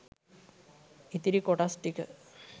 ඉතිරි කොටස් ටික